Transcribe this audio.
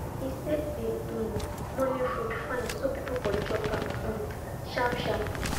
e set the um morning food fine so people go wan chop um sharp sharp